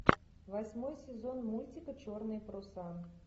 восьмой сезон мультика черные паруса